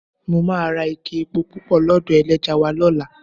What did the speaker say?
Mo ra ike epo pupa lọ́dọ̀ ẹlẹ́ja wa lọ́la.